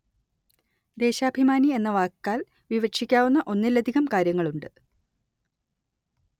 ദേശാഭിമാനി എന്ന വാക്കാല്‍ വിവക്ഷിക്കാവുന്ന ഒന്നിലധികം കാര്യങ്ങളുണ്ട്